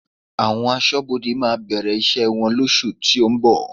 Àwọn Aṣọ́bodè máa bẹ̀rẹ̀ iṣẹ́ wọn lóṣù tó ń bọ̀